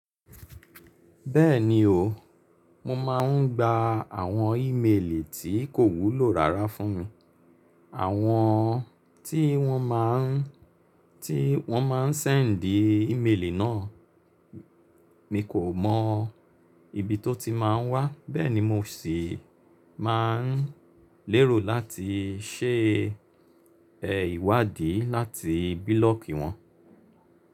Bẹ́ẹ̀ni o, mo máa ń gba àwọn ìmelì tí kò wúlò rárá fún mi. Àwọn tí wọ́n má ń, tí wọ́n má ń ṣẹ̀ndì ìmelì náà, mi kò mọ ibi tó ti máa wá, bẹ́ẹ̀ ni mo sì máa ń lérò láti ṣe ìwádìí láti bílọ̀kì wọn.